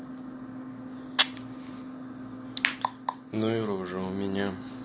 ну и рожа у меня